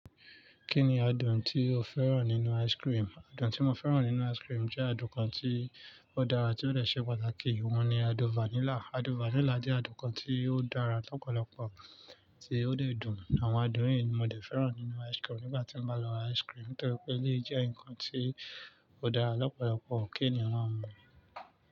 Kí ni adùn tí o fẹ́ràn nínú ice cream? Adùn tí mo fẹ́ràn nínú ice cream jẹ́ adùn kan tí ó dára tí ó dẹ̀ ṣe pàtàkì, òun ni adùn vanilla. Adùn vanilla jẹ́ adùn kan tí ó dára lọ́pọ̀lọpọ̀ tí ó dẹ̀ dùn. Àwọn adùn yìí ni mo fẹ́ràn nínú ice-cream nígbà tí n bá lọ ice-cream nítorí pé eléyìí jẹ́ nǹkan tí ó dára lọ́pọ̀lọpọ. Kí ènìyàn máa mu.